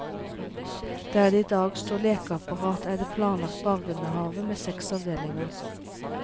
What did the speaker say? Der det i dag står lekeapparat, er det planlagt barnehave med seks avdelinger.